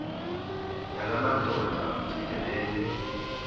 yala madoda amfikeleyo